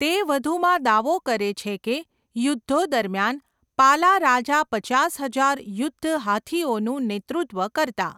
તે વધુમાં દાવો કરે છે કે યુદ્ધો દરમિયાન, પાલા રાજા પચાસ હજાર યુદ્ધ હાથીઓનું નેતૃત્વ કરતા.